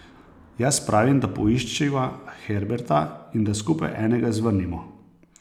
Jaz pravim, da poiščiva Herberta in da skupaj enega zvrnimo.